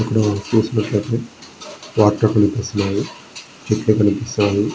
ఇక్కడ చూసినట్లయితే ప్లాట్ లు కనిపిస్తున్నాయి. చెట్లు కనిపిస్తున్నాయి.